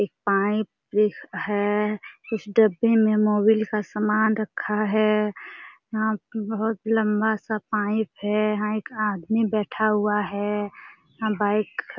एक पाइप एक है। कुछ डब्बे में मोबिल का सामान रखा है। यहाँ बहुत लम्बा सा पाइप है। यहाँ एक आदमी बैठा हुआ है। यहाॅं बाइक खड़ा --